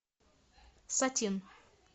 сатин